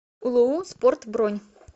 улуу спорт бронь